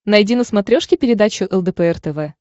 найди на смотрешке передачу лдпр тв